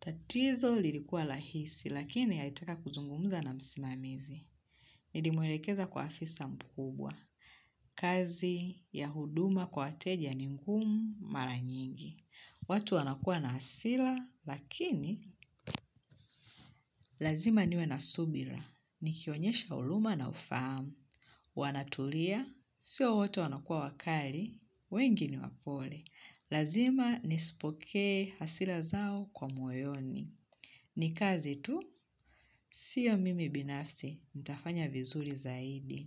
Tatizo lilikuwa lahisi, lakini alitaka kuzungumza na msimamizi. Nilimwelekeza kwa afisa mkubwa. Kazi ya huduma kwa wateja ni ngumu mara nyingi. Watu wanakua na hasila, lakini lazima niwe na subira. Nikionyesha uluma na ufahamu. Wanatulia. Sio wote wanakua wakali. Wengi ni wapole. Lazima nisipokee hasila zao kwa moyoni. Ni kazi tu. Sio mimi binafsi. Nitafanya vizuri zaidi.